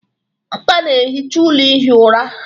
Amaka na-ehicha ụlọ ihi ụra